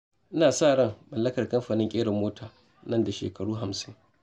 Ina da ran mallakar kamfanin ƙera mota nan da shekara hamsin.